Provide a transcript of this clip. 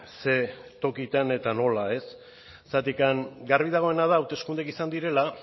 ze tokitan eta nola ez zergatik garbi dagoena da hauteskundeak izan direla